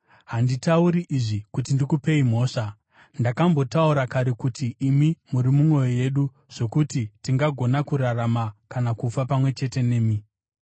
Handitauri izvi kuti ndikupei mhosva; ndakambotaura kare kuti imi muri mumwoyo yedu zvokuti tingagona kurarama kana kufa pamwe chete nemi.